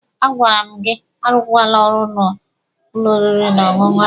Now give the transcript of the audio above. A gwara m gị arụkwala n'ụlọ oriri na ọṅụṅụ ahụ!